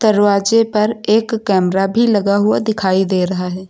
दरवाजे पर एक कैमरा भी लगा हुआ दिखाई दे रहा है।